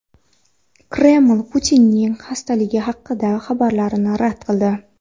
Kreml Putinning xastaligi haqidagi xabarlarni rad qildi.